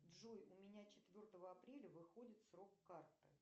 джой у меня четвертого апреля выходит срок карты